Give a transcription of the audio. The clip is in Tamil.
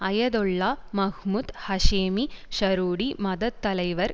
Ayatollah Mahmoud Hashemi Shahroudi மதத்தலைவர்